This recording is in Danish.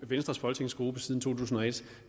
venstres folketingsgruppe siden to tusind og et